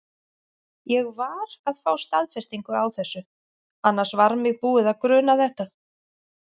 Ég var að fá staðfestingu á þessu. annars var mig búið að gruna þetta.